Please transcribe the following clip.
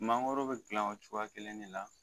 Mangɔrɔ be gilan o cogoya kelen de la